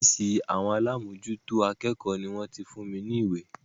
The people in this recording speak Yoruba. Ófìsì alámòjútó àwọn akẹ́kọ̀ọ́ ni wọ́n ti fún mi ní ìwé.